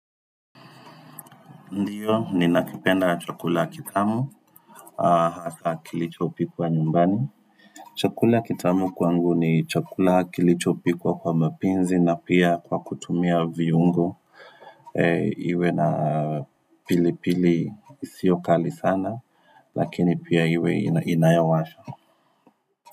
Ndiyo, ninakipenda chakula kitamu, hasa kilicho pikwa nyumbani. Chakula kitamu kwangu ni chakula kilichopikwa kwa mapenzi na pia kwa kutumia viungo. Iwe na pili pili isyio kali sana, lakini pia iwe inayowasha.